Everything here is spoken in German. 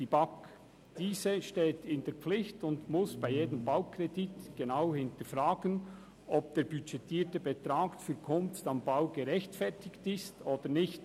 die BaK. Diese steht in der Pflicht und muss bei jedem Baukredit genau hinterfragen, ob der budgetierte Betrag für «Kunst am Bau» gerechtfertigt ist oder nicht.